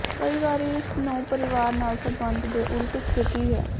ਕਈ ਵਾਰੀ ਇਸ ਨੂੰ ਪਰਿਵਾਰ ਨਾਲ ਸਬੰਧ ਦੇ ਉਲਟ ਸਥਿਤੀ ਹੈ